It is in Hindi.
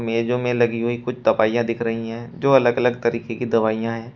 मेजों में लगी हुई कुछ दवाइयां दिख रही है जो अलग अलग तरीके की दवाइयां है।